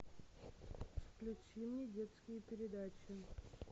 включи мне детские передачи